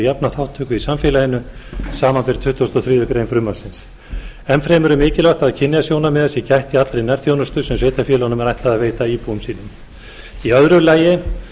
jafna þátttöku í samfélaginu samanber tuttugustu og þriðju greinar frumvarpsins enn fremur er mikilvægt að kynjasjónarmiða sé gætt í allri nærþjónustu sem sveitarfélögum er ætlað að veita íbúum sínum í öðru lagi